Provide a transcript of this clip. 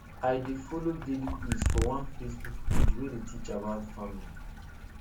i dey follow daily quiz for one facebook page wey dey teach about farming